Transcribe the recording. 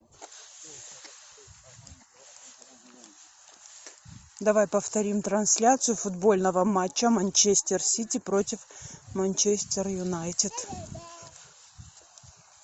давай повторим трансляцию футбольного матча манчестер сити против манчестер юнайтед